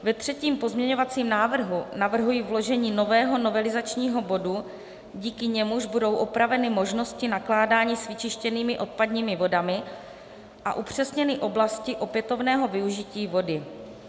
Ve třetím pozměňovacím návrhu navrhuji vložení nového novelizačního bodu, díky němuž budou opraveny možnosti nakládání s vyčištěnými odpadními vodami a upřesněny oblasti opětovného využití vody.